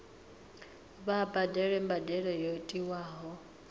vha badele mbadelo yo tiwaho